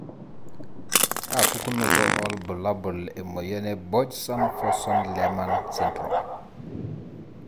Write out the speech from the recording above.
kaa pukunoto olbulabul emoyian e Borjeson Forssman Lehmann syndrome?